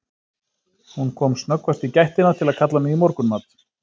Hún kom snöggvast í gættina til að kalla mig í morgunmat.